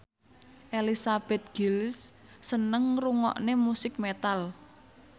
Elizabeth Gillies seneng ngrungokne musik metal